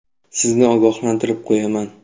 Sizni ogohlantirib qo‘yaman.